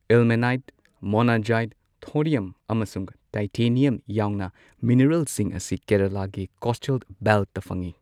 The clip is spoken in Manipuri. ꯏꯜꯃꯦꯅꯥꯏꯠ, ꯃꯣꯅꯖꯥꯏꯠ, ꯊꯣꯔꯤꯌꯝ, ꯑꯃꯁꯨꯡ ꯇꯥꯏꯇꯅꯤꯌꯝ ꯌꯥꯎꯅ ꯃꯤꯅꯔꯦꯜꯁꯤꯡ ꯑꯁꯤ ꯀꯦꯔꯂꯥꯒꯤ ꯀꯣꯁꯇꯦꯜ ꯕꯦꯜꯠꯇ ꯐꯪꯏ꯫